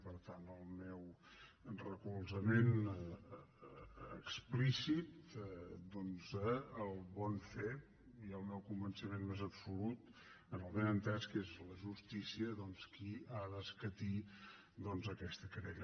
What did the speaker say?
per tant el meu recolzament explícit doncs al bon fer i el meu convenciment més absolut amb el benentès que és la justícia qui ha d’escatir aquesta querella